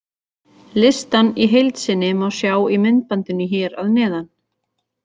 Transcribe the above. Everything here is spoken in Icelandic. Listann í heild sinni má sjá í myndbandinu hér að neðan.